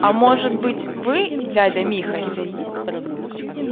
а может быть вы дядя михась